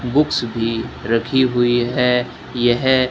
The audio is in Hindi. बुक्स भी रखी हुई है यह--